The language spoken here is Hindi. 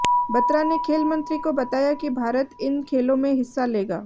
बत्रा ने खेल मंत्री को बताया कि भारत इन खेलों में हिस्सा लेगा